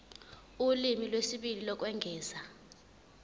ulimi lwesibili lokwengeza